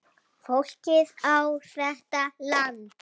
Fólkið á þetta land.